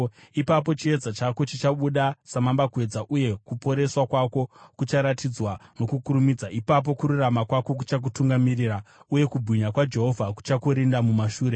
Ipapo chiedza chako chichabuda samambakwedza, uye kuporeswa kwako kucharatidzwa nokukurumidza; ipapo kururama kwako kuchakutungamirira, uye kubwinya kwaJehovha kuchakurinda mumashure.